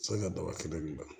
Sani ka daba kelen ban